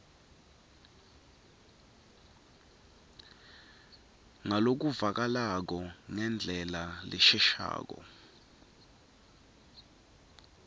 ngalokuvakalako ngendlela leshelelako